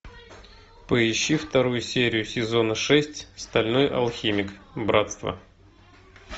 поищи вторую серию сезона шесть стальной алхимик братство